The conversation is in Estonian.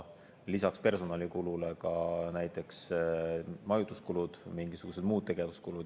Lisaks personalikulule võivad need olla näiteks majutuskulud, mingisugused muud tegevuskulud.